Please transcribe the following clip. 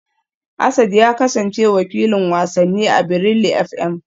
Asad ya kasance wakilin wasanni a Brila FM